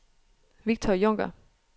Victor Junker